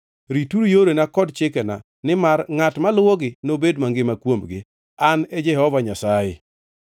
Rituru yorena kod chikena, nimar ngʼat moluwogi nobed mangima kuomgi. An e Jehova Nyasaye.